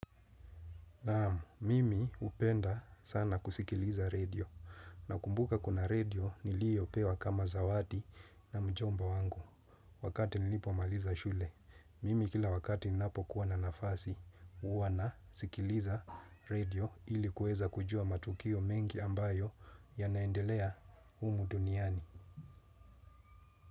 Naam, mimi hupenda sana kusikiliza redio nakumbuka kuna redio niliyo pewa kama zawadi na mjomba wangu. Wakati nilipomaliza shule, mimi kila wakati ninapo kuwa na nafasi, huwa na sikiliza redio ili kueza kujua matukio mengi ambayo yanaendelea humu duniani.